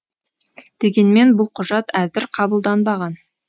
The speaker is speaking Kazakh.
дегенмен бұл құжат әзір қабылданбаған